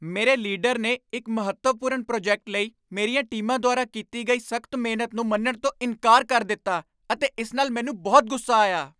ਮੇਰੇ ਲੀਡਰ ਨੇ ਇੱਕ ਮਹੱਤਵਪੂਰਨ ਪ੍ਰੋਜੈਕਟ ਲਈ ਮੇਰੀਆਂ ਟੀਮਾਂ ਦੁਆਰਾ ਕੀਤੀ ਗਈ ਸਖ਼ਤ ਮਿਹਨਤ ਨੂੰ ਮੰਨਣ ਤੋਂ ਇਨਕਾਰ ਕਰ ਦਿੱਤਾ ਅਤੇ ਇਸ ਨਾਲ ਮੈਨੂੰ ਬਹੁਤ ਗੁੱਸਾ ਆਇਆ।